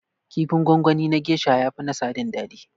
Kifin gwangwani na gesha ya fi na sadin daɗi